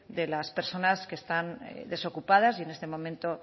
de las personas que están desocupadas y en este momento